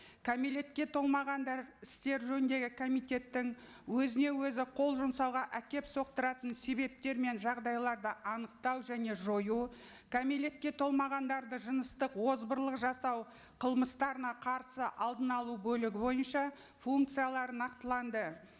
кәмелекет толмағандар істері жөніндегі комитеттің өзіне өзі қол жұмсауға әкеліп соқтыратын себептер мен жағдайларды анықтау және жою кәмелетке толмағандарды жыныстық озбырлық жасау қылмыстарына қарсы алдын алу бөлігі бойынша функциялары нақтыланды